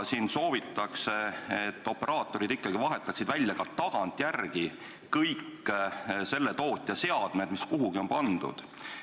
Siin soovitakse, et operaatorid vahetaksid ka tagantjärele välja kõik vastava tootja seadmed, mis kuhugi on pandud.